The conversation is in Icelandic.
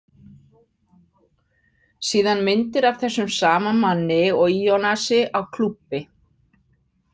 Síðan myndir af þessum sama manni og Ionasi á klúbbi.